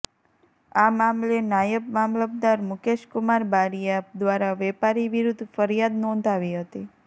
આ મામલે નાયબ મામલતદાર મુકેશકુમાર બારીઆ દ્વારા વેપારી વિરુદ્ધ ફ્રિયાદ નોંધાવી હતી